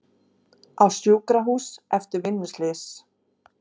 Á sjúkrahús eftir vinnuslys